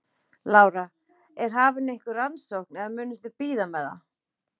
Lára: Er hafin einhver rannsókn eða munuð þið bíða með það?